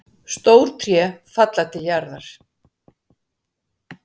Stór tré falla til jarðar.